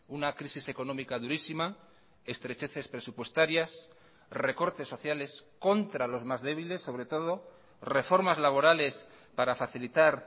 una crisis económica durísima estrecheces presupuestarias recortes sociales contra los más débiles sobre todo reformas laborales para facilitar